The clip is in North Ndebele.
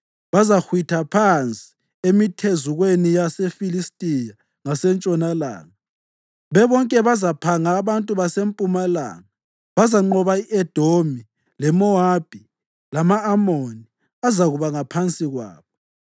Bazahwitha phansi emithezukweni yaseFilistiya ngasentshonalanga; bebonke bazaphanga abantu basempumalanga. Bazanqoba i-Edomi leMowabi lama-Amoni azakuba ngaphansi kwabo.